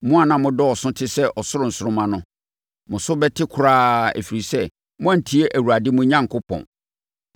Mo a na modɔɔso te sɛ ɔsoro nsoromma no, mo so bɛte koraa, ɛfiri sɛ, moantie Awurade, mo Onyankopɔn.